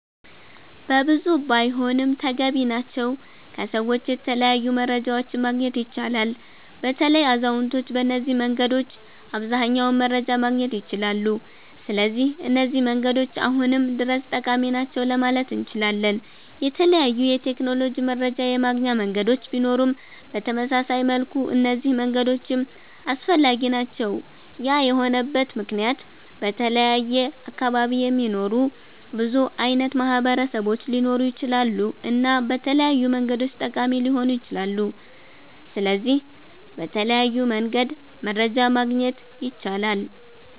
በብዙ ባይሆንም ተገቢ ናቸዉ ከሰዎች የተለያዩ መረጃዎችን ማግኘት ይቻላል። በተለይ አዛዉነቶች በነዚህ መንገዶች አብዘሃኛዉን መረጃ ማግኘት ይችላሉ ስለዚህ እነዚህ መንገዶች አሁንም ድረስ ጠቃሚ ናቸዉ ለማለት እነችላለን። የተለያዩ የቴክኖሎጂ መረጃ የማገኛ መንገዶች ቢኖሩም በተመሳሳይ መልኩ እነዚህ መንገዶችም አስፈላጊ ናቸዉ ያ የሆነበት መክንያት በተለያየ አካባቢ የሚኖሩ ብዙ አይነት ማህበረሰቦች ሊኖሩ ይችላሉ እና በተለያዩ መንገዶች ጠቃሚ ሊሆኑ ይችላሉ። ስለዚህ በተለያዩ መንገድ መረጃ ማግኘት ይቻላል